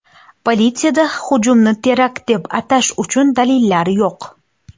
Politsiyada hujumni terakt deb atash uchun dalillar yo‘q.